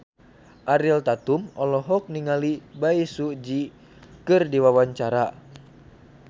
Ariel Tatum olohok ningali Bae Su Ji keur diwawancara